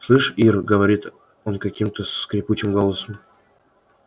слышь ир говорит он каким-то скрипучим голосом